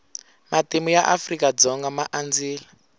matimu ya afrika dzonga ma andzile